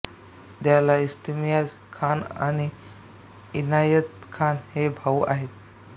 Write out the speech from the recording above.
त्याला इम्तियाज खान आणि इनायत खान हे भाऊ आहेत